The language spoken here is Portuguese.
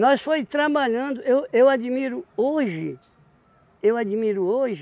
foi trabalhando, eu eu admiro hoje, eu admiro hoje,